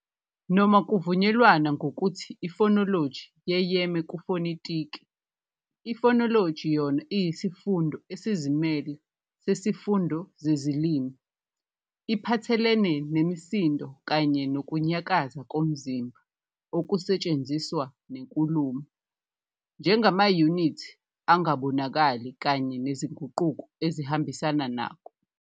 Noma kuvunyelwana ngokuthi ifonoloji yeyeme kufonetiki, ifonoloji yona iyisifundo esizimele sesifundo sezilimi, iphathelene nemisindo kanye nokunyakaza komzimba okusetshenziswa nenkulumo njengamayunithi angabonakali kanye nezinguquko ezihambisana nakho.